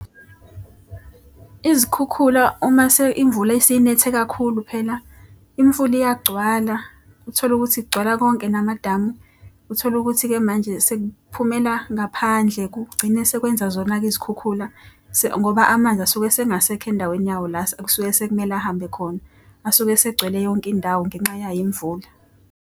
Izikhukhula umase imvula isinethe kakhulu phela imfula iyagcwala. Uthole ukuthi kugcwala konke namadamu. Uthole ukuthi-ke manje sekuphumela ngaphandle kugcine sekwenza zona-ke izikhukhula ngoba amanzi asuke esengasekho endaweni yawo la ekusuke sekumele ahambe khona. Asuke asegcwele yonke indawo ngenxa yayo imvula.